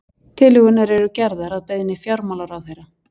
Tillögurnar eru gerðar að beiðni fjármálaráðherra